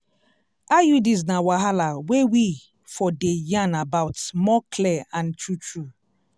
iuds na wahala wey we for dey yarn about more clear and true true.